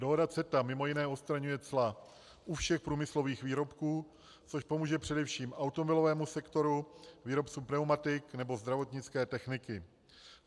Dohoda CETA mimo jiné odstraňuje cla u všech průmyslových výrobků, což pomůže především automobilovému sektoru, výrobcům pneumatik nebo zdravotnické techniky.